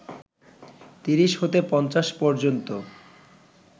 তিরিশ হতে পঞ্চাশ পর্যন্ত